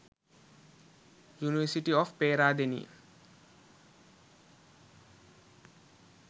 university of peradeniya